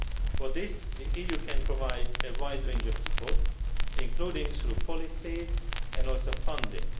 For this, the EU can provide a wide range of support, including through policies and also through funding.